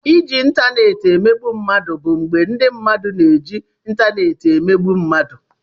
Iji ịntanetị emegbu mmadụ bụ mgbe ndị mmadụ na-eji ịntanetị emegbu mmadụ.